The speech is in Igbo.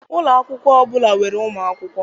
Ụlọ akwụkwọ ọbụla nwere ụmụ akwụkwọ